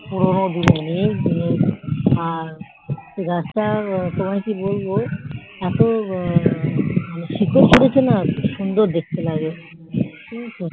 পুরোনো দিনের অনেক দিনের গাছ টার তোমায় কি বলবো যা শিকড় হৈছে না সুন্দর দেখতে লাগে